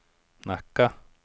Nacka